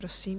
Prosím.